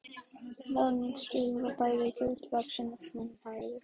Ráðningarstjóri var bæði gildvaxinn og þunnhærður.